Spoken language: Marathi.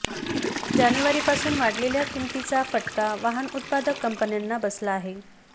जानेवारीपासून वाढलेल्या किंमतींचा फटका वाहन उत्पादक कंपन्यांना बसला आहे